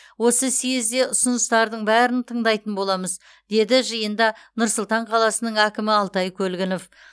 осы съезде ұсыныстардың бәрін тыңдайтын боламыз деді жиында нұр сұлтан қаласының әкімі алтай көлгінов